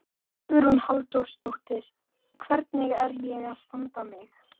Hugrún Halldórsdóttir: Hvernig er ég að standa mig?